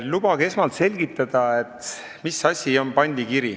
Lubage esmalt selgitada, mis asi on pandikiri.